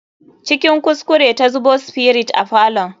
Cikin kuskure ta zubo spirit a falon.